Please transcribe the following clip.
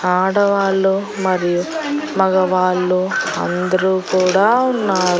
ఆడవాళ్ళు మరియు మగవాళ్ళు అందరూ కూడా ఉన్నారు.